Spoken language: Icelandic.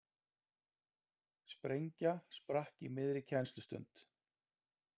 Sprengja sprakk í miðri kennslustund